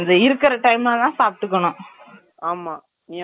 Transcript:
ஆமா நீ அந்த two and hours two hours குள்ள எவ்ளோ வேணாலும் சாப்பிட்டுக்கலாம்